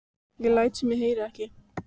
Ég læt sem ég heyri ekki.